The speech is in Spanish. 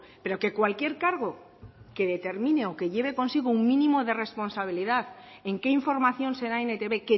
pero que cualquier cargo que determine o que lleve consigo un mínimo de responsabilidad en qué información se da en etb